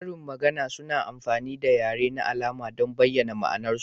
Karin magana suna amfani da yare na alama don bayyana ma'anarsu.